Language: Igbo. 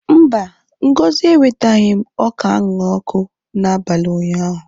Mba, Ngozi ewetaghị m ọka a ṅara n'ọkụ n'abalị ụnyaahụ.